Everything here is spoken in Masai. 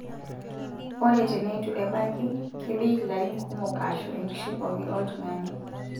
Ore teneitu ebaki, kebik larin kumok aashu enkishui pookin oltung'ani.